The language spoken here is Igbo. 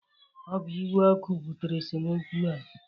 Ọ bụ iwe ọkụ butere esemokwu a